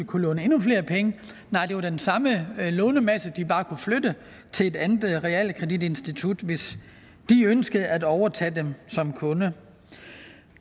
kunne låne endnu flere penge nej det var den samme lånemasse de bare kunne flytte til et andet realkreditinstitut hvis de ønskede at overtage dem som kunde